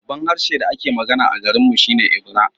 Babban harshen da ake magana a garinmu shi ne Ebira